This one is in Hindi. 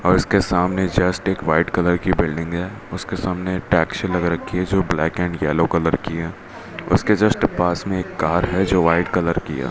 और इसके सामने जस्ट एक व्हाइट कलर की बिल्डिंग है उसके सामने टैक्सी लग रखी है जो ब्लैक एंड येलो कलर की है उसके जस्ट पास में एक कार है जो व्हाइट कलर की है।